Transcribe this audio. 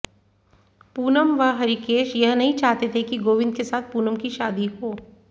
पूनम व हरिकेश यह नहीं चाहते थे कि गोविन्द के साथ पूनम की शादी हो